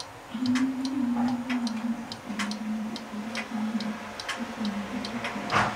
Joma odhi nyime gi ng’anjo osedonjone jopolisi ni ne otimogi gik maricho.